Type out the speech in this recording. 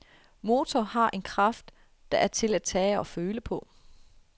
Motoren har en kraft, der er til at tage og føle på.